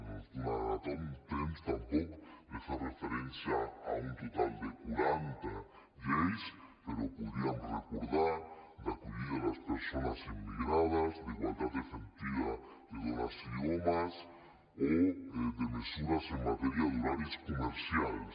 no ens donarà temps tampoc de fer referència a un total de quaranta lleis però podríem recordar d’acollida a les persones immigrades d’igualtat efectiva de dones i homes o de mesures en matèria d’horaris comercials